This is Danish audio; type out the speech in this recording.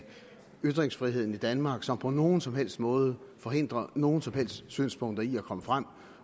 ytringsfriheden i danmark som på nogen som helst måde forhindrer nogen som helst synspunkter i at komme frem